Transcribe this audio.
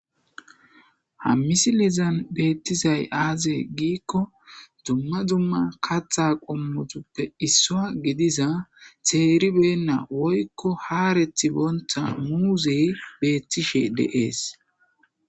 Ha misilezan betizay aze gikon dumma dumma katha qomotuppe issa gidiza ka'i beyina woyko haretibonta muuzey beetishe de'es.